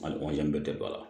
A bɛɛ tɛ ba la